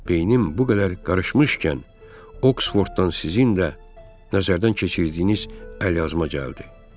Beynim bu qədər qarışmışkən, Oksforddan sizinlə nəzərdən keçirdiyiniz əlyazma gəldi.